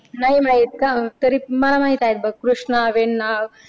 नाही माहित का तरी मला माहित आहेत बघ. कृष्णा वेण्णा